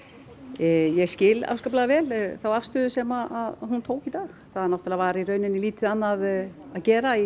ég skil afskaplega vel þá afstöðu sem hún tók í dag það náttúrulega var lítið annað að gera í